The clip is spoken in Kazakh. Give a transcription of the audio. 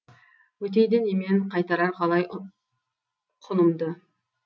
өтейді немен қайтарар қалай құнымды